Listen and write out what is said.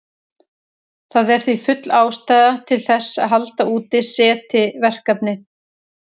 Það er því full ástæða til þess að halda úti SETI-verkefni.